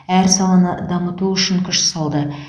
әр саланы дамыту үшін күш салды